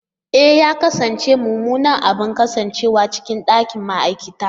E! ya kasance mummunan abu kasancewa cikin ɗakin ma'aikata.